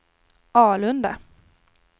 Alunda